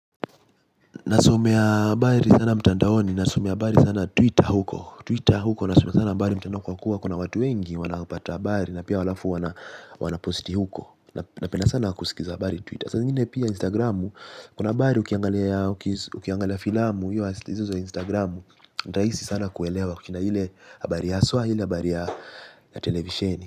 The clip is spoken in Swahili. Nasomea abaari sana mtandaoni. Nasumea abari sana Twitter huko Twitter huko nasumea sana abari mtandao kwa kuwa kuna watu wengi wanaupata abari na pia walafu wana posti huko. Napenda sana kusikiza abari Twitter. Asa zingine pia Instagramu. Kuna abari ukiangalia filamu Yo aslizo Instagramu. Raisi sana kuelewa kukina hile abari ya aswa hile abari ya televisheni.